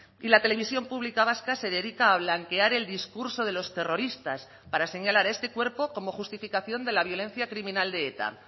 y la televisión pública vasca se dedica a blanquear el discurso de los terroristas para señalar este cuerpo como justificación de la violencia criminal de eta